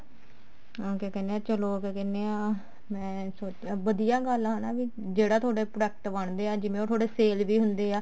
ਕਿਆ ਕਹਿਨੇ ਆ ਚਲੋ ਕਿਆ ਕਹਿਨੇ ਆ ਮੈਂ ਵਧੀਆ ਗੱਲ ਆ ਹਨਾ ਵੀ ਜਿਹੜਾ ਤੁਹਾਡੇ product ਬਣਦੇ ਐ ਜਿਵੇਂ ਉਹ ਤੁਹਾਡੇ sale ਵੀ ਹੁੰਦੇ ਆ